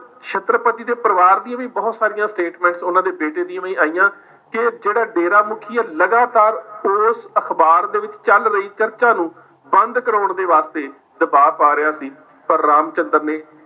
ਛੱਤਰਪਤੀ ਦੇ ਪਰਿਵਾਰ ਦੀਆਂ ਵੀ ਬਹੁਤ ਸਾਰੀਆਂ statements ਉਨ੍ਹਾਂ ਦੇ ਬੇਟੇ ਦੀਆਂ ਵੀ ਆਈਆਂ ਕਿ ਜਿਹੜਾ ਡੇਰਾ ਮੁਖੀ ਹੈ ਲਗਾਤਾਰ ਉਸ ਅਖਬਾਰ ਦੇ ਵਿੱਚ ਚੱਲ ਰਹੀ ਚਰਚਾ ਨੂੰ ਬੰਦ ਕਰਵਾਉਣ ਦੇ ਵਾਸਤੇ ਦਬਾਅ ਪਾ ਰਿਹਾ ਸੀ, ਪਰ ਰਾਮਚੰਦ੍ਰ ਨੇ